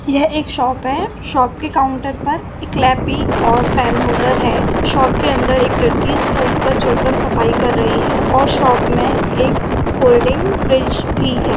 यह एक शॉप है। शॉप के काउंटर पर लैपी और पेन होल्डर है। शॉप के अंदर एक लड़की स्टूल पर चढ़ कर सफाई कर रही है और शॉप में एक कोल्ड्रिंक फ्रिज भी है।